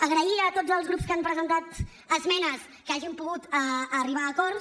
agrair a tots els grups que han presentat esmenes que hàgim pogut arribar a acords